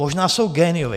Možná jsou géniové.